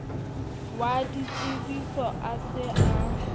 wa ditsebiso a se a